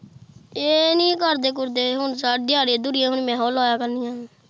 ਇਹ ਨੀ ਕਰਦੇ-ਕੂਰਦੇ ਹੁਣ ਸ਼ਾਇਦ ਦਿਹਾੜੀਆਂ-ਦਹੂੜੀਆਂ ਹੁਣ ਮੈਂ ਹੋ ਲਾਇਆ ਕਰਨੀਆਂ ਨੇ।